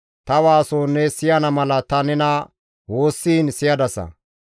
Ta waaso ne siyana mala ta nena woossiin siyadasa.